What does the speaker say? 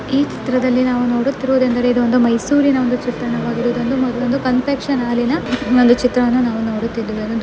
ಈ ಚಿತ್ರದಲ್ಲಿ ನಾವು ನೋಡುತ್ತಿರುವುದೆಂದರೆ ಇದು ಮೈಸೂರಿನ ಒಂದು ಚಿತ್ರಣವಾಗಿದೆ ಇದೊಂದು ಕನ್ಫೆಕ್ಷನ್ ಹಾಲಿನ ಇದೊಂದು ಚಿತ್ರವನ್ನು ನೋಡುತ್ತಿದ್ದೇವೆ .